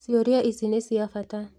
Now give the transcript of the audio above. Ciũria ici nĩ cia bata